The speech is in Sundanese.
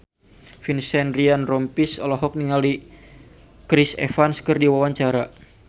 Vincent Ryan Rompies olohok ningali Chris Evans keur diwawancara